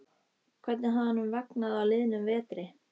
Hvernig hafði honum vegnað á liðnum vetri?